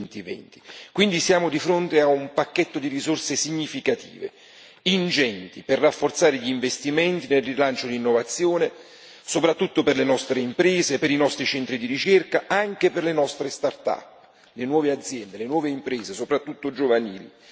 2020. Quindi siamo di fronte a un pacchetto di risorse significative, ingenti, per rafforzare gli investimenti, nel rilancio di innovazione, soprattutto per le nostre imprese, per i nostri centri di ricerca, anche per le nostre start up, le nuove aziende, le nuove imprese, soprattutto giovanili.